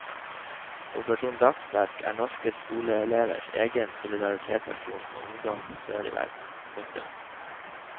Operasjon dagsverk er norske skoleelevers egen solidaritetsaksjon med ungdom sør i verden. punktum